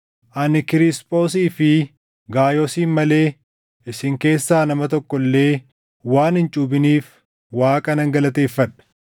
Ani Kiriisphoosii fi Gaayoosin malee isin keessaa nama tokko illee waan hin cuuphiniif Waaqa nan galateeffadha.